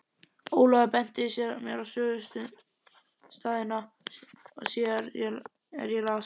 Ólafur benti mér á sögustaðina og síðar er ég las